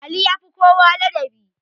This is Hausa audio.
Ali yafi kowa ladabi